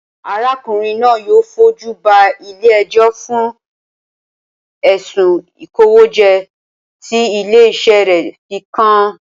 Arákùnrin náà yóò fojú ba ilé ẹjọ́ fún ẹ̀sùn ìkówójẹ tí ilé-iṣẹ́ rẹ̀ fi kàn án